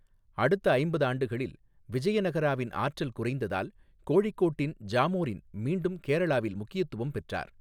அடுத்த ஐம்பது ஆண்டுகளில் விஜயநகராவின் ஆற்றல் குறைந்ததால், கோழிக்கோட்டின் ஜாமோரின் மீண்டும் கேரளாவில் முக்கியத்துவம் பெற்றார்.